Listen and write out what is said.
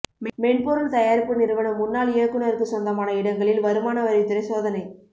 மென்பொருள் தயாரிப்பு நிறுவன முன்னாள் இயக்குநருக்கு சொந்தமான இடங்களில் வருமான வரித்துறை சோதனை